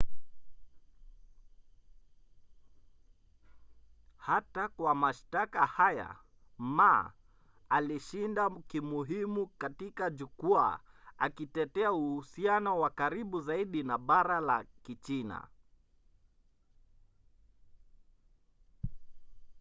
hata kwa mashtaka haya ma alishinda kimuhimu katika jukwaa akitetea uhusiano wa karibu zaidi na bara la kichina